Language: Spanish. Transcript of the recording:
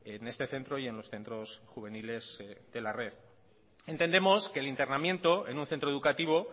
en este centro y en los centros juveniles de la red entendemos que el internamiento en un centro educativo